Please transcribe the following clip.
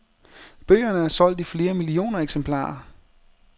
Bøgerne er solgt i flere millioner eksemplarer.